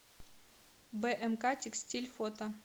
бмк текстиль фото